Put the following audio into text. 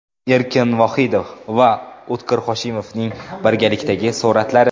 Erkin Vohidov va O‘tkir Hoshimovning birgalikdagi suratlari.